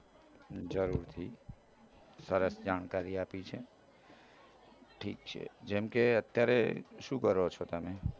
જરૂરથી સરસ જાણકારી આપી છે ઠીક છે જેમ કે અત્યારે શું કરો છો તમે